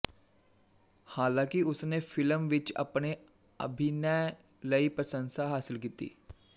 ਹਾਲਾਂਕਿ ਉਸ ਨੇ ਫ਼ਿਲਮ ਵਿੱਚ ਆਪਣੇ ਅਭਿਨੈ ਲਈ ਪ੍ਰਸੰਸਾ ਹਾਸਿਲ ਕੀਤੀ